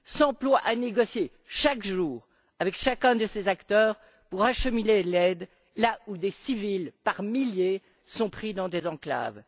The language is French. s'emploie à négocier chaque jour avec chacun de ces acteurs pour acheminer l'aide là où des civils, par milliers, sont pris dans des enclaves.